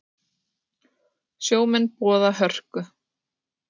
Sjómenn boða hörku